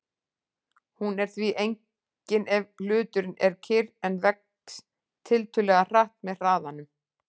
Hún er því engin ef hluturinn er kyrr en vex tiltölulega hratt með hraðanum.